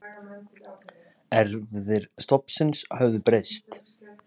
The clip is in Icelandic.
Erfðir stofnsins höfðu breyst.